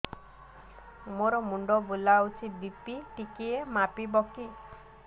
ମୋ ମୁଣ୍ଡ ବୁଲାଉଛି ବି.ପି ଟିକିଏ ମାପିବ କି